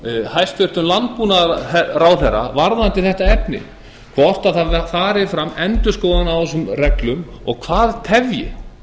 hæstvirtur landbúnaðarráðherra varðandi þetta efni hvort það fari fram endurskoðun á þessum reglum og það tefji